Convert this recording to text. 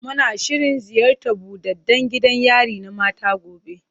Muna shirin ziyartar buɗaɗɗan gidan yari na mata gobe.